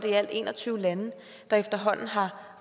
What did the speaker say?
i alt en og tyve lande der efterhånden har